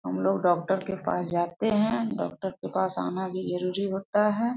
हमलोग डॉक्टर के पास जाते है डॉक्टर के पास आना भी जरुरी होता है।